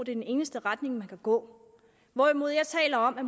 er den eneste retning man kan gå hvorimod jeg taler om at